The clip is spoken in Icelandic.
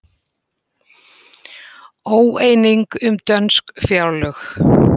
Óeining um dönsk fjárlög